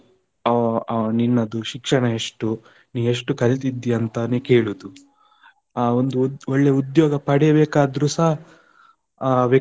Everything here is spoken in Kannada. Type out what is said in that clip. ಅಹ್ ಅಹ್ ನಿನ್ನದು ಶಿಕ್ಷಣ ಎಷ್ಟು, ಎಷ್ಟು ಕಲಿತಿದ್ದೀಯಾ ಅಂತಾನೇ ಕೇಳುದು, ಆ ಒಂದು ಒಳ್ಳೆ ಉದ್ಯೋಗ ಪಡೆಬೇಕಾದ್ರುಸ ಆ.